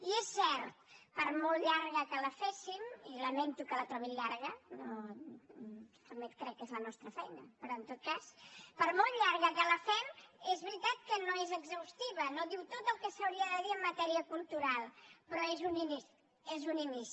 i és cert per molt llarga que la féssim i lamento que la trobin llarga també crec que és la nostra feina però en tot cas per molt llarga que la fem és veritat que no és exhaustiva no diu tot el que s’hauria de dir en matèria cultural però és un inici és un inici